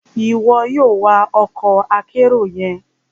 Iwọ yoo wa ọkọ akero yẹn!